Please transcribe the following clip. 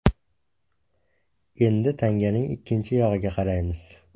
Endi tanganing ikkinchi yog‘iga qaraymiz.